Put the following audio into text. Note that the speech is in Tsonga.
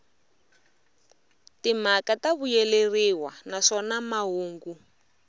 timhaka ta vuyeleriwa naswona mahungu